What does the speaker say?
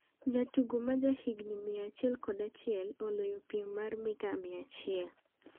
Jatugo ma ja higni 101 oloyo piem mar mita 100